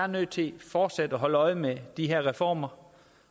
nødt til fortsat at holde øje med de her reformer